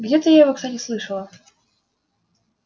где-то я его кстати слышала